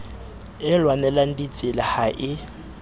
e lwanelang ditsela ha e